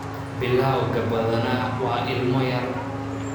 Bilawga badanaa waa ilmo yar.